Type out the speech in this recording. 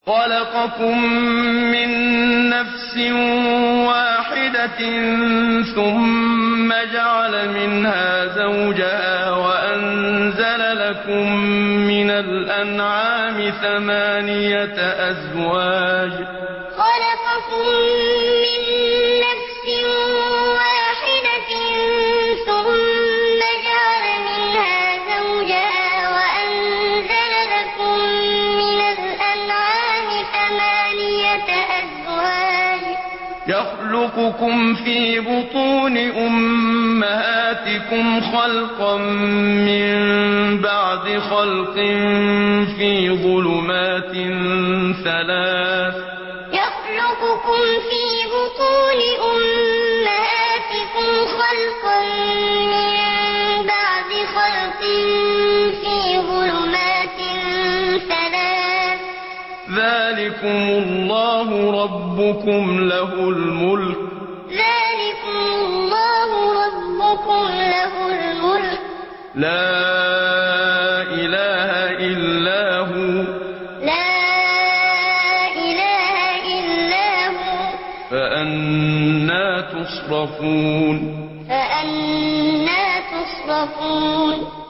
خَلَقَكُم مِّن نَّفْسٍ وَاحِدَةٍ ثُمَّ جَعَلَ مِنْهَا زَوْجَهَا وَأَنزَلَ لَكُم مِّنَ الْأَنْعَامِ ثَمَانِيَةَ أَزْوَاجٍ ۚ يَخْلُقُكُمْ فِي بُطُونِ أُمَّهَاتِكُمْ خَلْقًا مِّن بَعْدِ خَلْقٍ فِي ظُلُمَاتٍ ثَلَاثٍ ۚ ذَٰلِكُمُ اللَّهُ رَبُّكُمْ لَهُ الْمُلْكُ ۖ لَا إِلَٰهَ إِلَّا هُوَ ۖ فَأَنَّىٰ تُصْرَفُونَ خَلَقَكُم مِّن نَّفْسٍ وَاحِدَةٍ ثُمَّ جَعَلَ مِنْهَا زَوْجَهَا وَأَنزَلَ لَكُم مِّنَ الْأَنْعَامِ ثَمَانِيَةَ أَزْوَاجٍ ۚ يَخْلُقُكُمْ فِي بُطُونِ أُمَّهَاتِكُمْ خَلْقًا مِّن بَعْدِ خَلْقٍ فِي ظُلُمَاتٍ ثَلَاثٍ ۚ ذَٰلِكُمُ اللَّهُ رَبُّكُمْ لَهُ الْمُلْكُ ۖ لَا إِلَٰهَ إِلَّا هُوَ ۖ فَأَنَّىٰ تُصْرَفُونَ